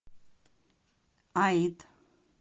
аид